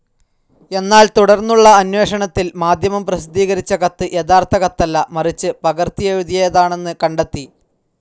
എന്നാൽ തുടർന്നുള്ള അന്വേഷണത്തിൽ മാധ്യമം പ്രസിദ്ധീകരിച്ച കത്ത് യഥാർത്ഥ കത്തല്ല, മറിച്ച് പകർത്തിയെഴുതിയതാണെന്ന് കണ്ടെത്തി.